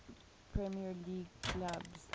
premier league clubs